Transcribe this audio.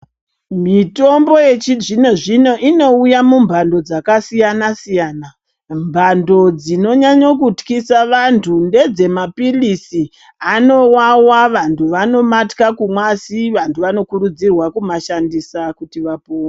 Mitombo yechizvino zvino inouya mumhando dzakasiyana-siyana. Mhando dzinonyanye kutyisa vantu ngedzemaphiritsi, anowawa, vantu vanomatya kumwa asi vantu vanokurudzirwa kumashandisa kuti vapone.